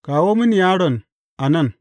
Kawo mini yaron a nan.